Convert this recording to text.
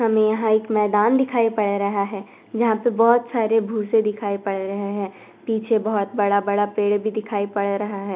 हमें हर एक मैदान दिखाई पढ़ रहा है जहां पे बहुत सारे भूसे दिखाई पड़ रहे हैं पीछे बहुत बड़ा-बड़ा पेड़ भी दिखाई पड़ रहा है।